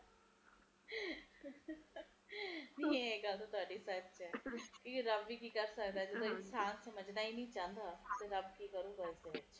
ਪ੍ਰਦੂਸ਼ਣ ਕਰਕੇ ਜ਼ਿਆਦਾ ਹੈ ਜਿਥੇ ਪ੍ਰਦੂਸ਼ਣ ਜ਼ਿਆਦਾ ਹੈ ਓਥੇ ਠੰਡ ਆਪੇ ਆਪ ਹੀ ਘਟ ਜਾਂਦੀ ਐ ਇਹ ਤਾ ਗੱਲ ਆਪਾ ਨੂੰ ਪਤਾ ਹੀ ਹੈ ਹਾਂਜੀ ਹਾਂਜੀ ਇਸਦੇ ਕਰਕੇ ਮੌਸਮ ਦਾ ਵੀ ਫਰਕ ਪੈਂਦਾ ਹੈ